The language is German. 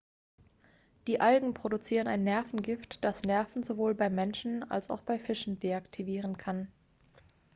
die algen produzieren ein nervengift das nerven sowohl beim menschen als auch bei fischen deaktivieren kann